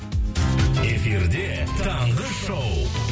эфирде таңғы шоу